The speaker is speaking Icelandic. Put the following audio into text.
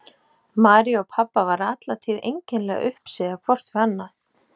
Maríu og pabba var alla tíð einkennilega uppsigað hvort við annað.